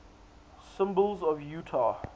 symbols of utah